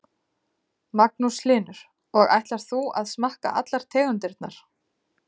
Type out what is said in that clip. Magnús Hlynur: Og ætlar þú að smakka allar tegundirnar?